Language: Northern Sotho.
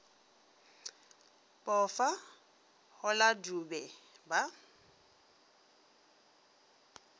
pofa go la dube ba